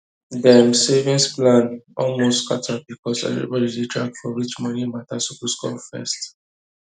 dem savings plan almost scatter because everybody dey drag for which money matter suppose come first